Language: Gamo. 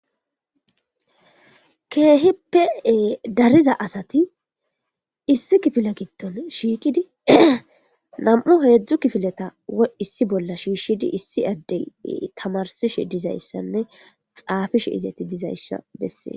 keehippee dariza asati issi kifile gitton shiikidi nam7u heedzdzu kifileta issi bolla shiishshidi issi addey tamarsishe dizayssanne xaafishe izati dizayssa bessee